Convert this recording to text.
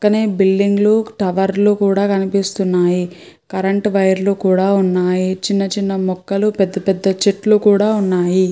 పక్కనే బిల్డింగులు టవర్లు కూడా కనిపిస్తున్నాయి. కరెంట్ వైర్లు కూడా ఉన్నాయి. చిన్న చిన్న మొక్కలు పెద్ద పెద్ద చెట్లు కూడా ఉన్నాయి.